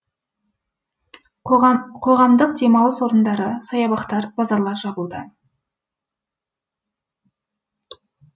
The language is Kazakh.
қоғамдық демалыс орындары саябақтар базарлар жабылды